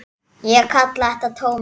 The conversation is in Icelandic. Ég kalla þetta tómið.